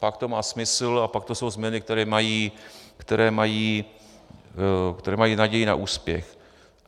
Pak to má smysl a pak to jsou změny, které mají naději na úspěch.